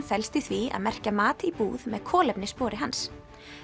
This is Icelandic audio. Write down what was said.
felst í því að merkja mat í búð með kolefnisspori hans